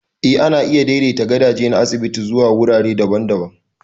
Eh, ana iya daidaita gadaje na asibiti zuwa wurare daban-daban.